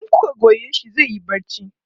in kuka Goya shi zaiyi barci